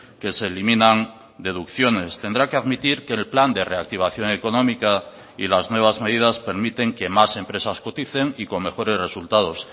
que se eliminan deducciones tendrá que admitir que el plan de reactivación económica y las nuevas medidas permiten que más empresas coticen y con mejores resultados